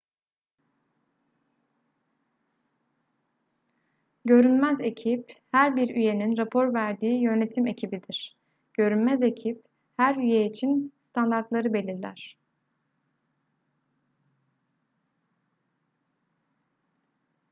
görünmez ekip her bir üyenin rapor verdiği yönetim ekibidir görünmez ekip her üye için standartları belirler